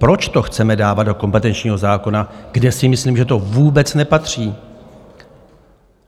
Proč to chceme dávat do kompetenčního zákona, kde si myslím, že to vůbec nepatří?